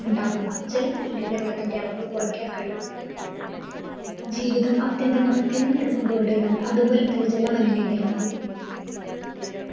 മുണ്ടാകുന്ന ജല മലിനീകരണത്തിൻ്റെ അളവ് കുറക്കാൻ കഴിയും ജീവിതം ആത്യന്തികമായി തിരഞ്ഞെടുപ്പുകളുടെതാണ് അതുപോലെ തന്നെ ജല മലിനീകരണവും